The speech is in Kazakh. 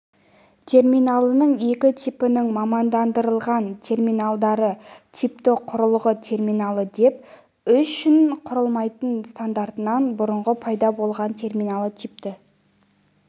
терминалының екі типінің мамандандырылған терминалдары типті құрылғы терминалы деп үшін құрылмайтын стандартынан бұрын пайда болған терминалы типті